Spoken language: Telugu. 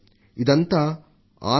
ఇదంతా ఒక అద్బుతమైన అనుభవం